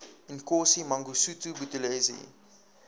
inkosi mangosuthu buthelezi